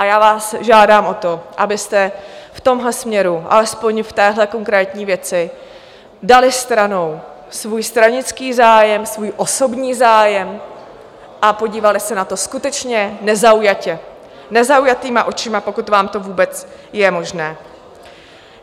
A já vás žádám o to, abyste v tomhle směru, alespoň v téhle konkrétní věci, dali stranou svůj stranický zájem, svůj osobní zájem a podívali se na to skutečně nezaujatě, nezaujatýma očima, pokud vám to vůbec je možné.